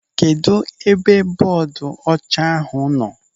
Kedụ ebe bọọdu ọcha ahụ nọ?